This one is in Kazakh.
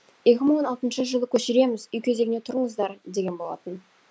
жылы көшіреміз үй кезегіне тұрыңыздар деген болатын